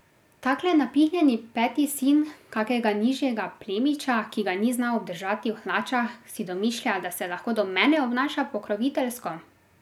Takle napihnjeni peti sin kakega nižjega plemiča, ki ga ni znal obdržati v hlačah, si domišlja, da se lahko do mene obnaša pokroviteljsko?